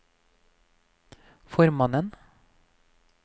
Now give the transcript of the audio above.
formannen